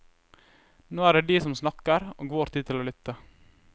Nå er det de som snakker og vår tid til å lytte.